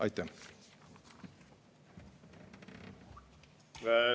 Aitäh!